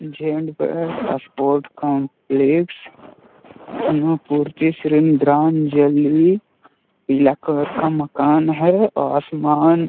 Gents pants sport complex पीला colour का मकान है। आसमान --